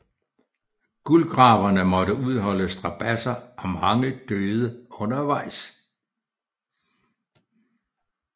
Guldgraverne måtte udholde strabadser og mange døde undervejs